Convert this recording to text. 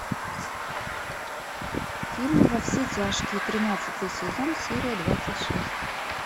фильм во все тяжкие тринадцатый сезон серия двадцать шесть